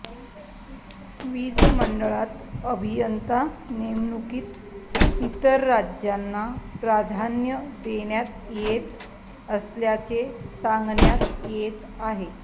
वीज मंडळात अभियंता नेमणुकीत इतर राज्यांना प्राधान्य देण्यात येत असल्याचे सांगण्यात येत आहे